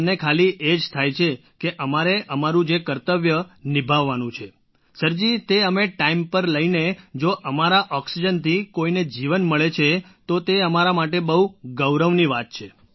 અમને ખાલી એ જ થાય છે કે અમારે અમારું જે કર્તવ્ય નિભાવવાનું છે સરજી તે અમે ટાઇમ પર લઈને જો અમારા ઑક્સિજનથી કોઈને જીવન મળે છે તો તે અમારા માટે બહુ ગૌરવની વાત છે